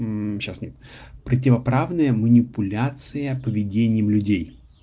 сейчас нет противоправная манипуляция поведением людей